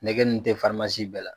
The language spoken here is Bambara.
Nɛgɛ dun tɛ bɛɛ la